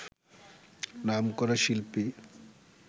নামকরা শিল্পী